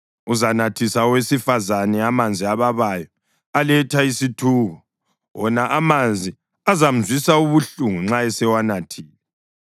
Uzanathisa owesifazane amanzi ababayo aletha isithuko, wona amanzi azamzwisa ubuhlungu nxa esewanathile.